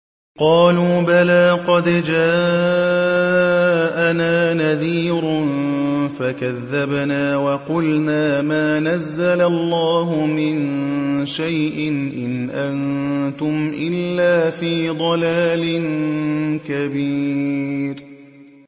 قَالُوا بَلَىٰ قَدْ جَاءَنَا نَذِيرٌ فَكَذَّبْنَا وَقُلْنَا مَا نَزَّلَ اللَّهُ مِن شَيْءٍ إِنْ أَنتُمْ إِلَّا فِي ضَلَالٍ كَبِيرٍ